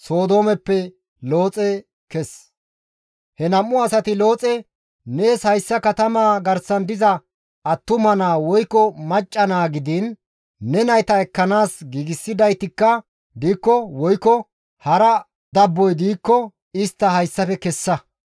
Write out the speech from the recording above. He nam7u asati Looxe, «Nees hayssa katamaa garsan diza attuma naa woykko macca naa gidiin ne nayta ekkanaas giigsidaytikka diikko woykko hara dabboy diikko istta hayssafe kessa.